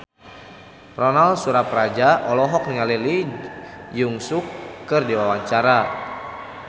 Ronal Surapradja olohok ningali Lee Jeong Suk keur diwawancara